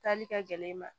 Taali kɛ gɛlɛn ma